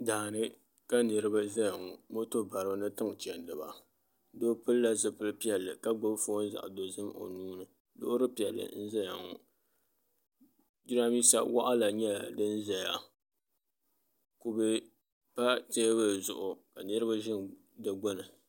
Daani ka niraba ʒɛya ŋo moto baribi ni tiŋ chɛndiba doo pilila zipili piɛlli ka gbubi foon zaɣ dozim o nuuni loori piɛlli n ʒɛya ŋo jiranbiisa waɣala nyɛla din ʒɛya kubɛ pa teebuli zuɣu ka niraba ʒi di gbuni